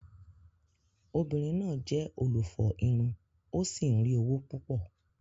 Obìnrin náà jẹ́ olùfọ irun ó sì ń rí owó púpọ̀.